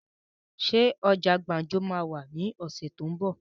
Ṣé ọjà gbàǹjo máa wà ní ọ̀sẹ̀ tó ún bọ̀?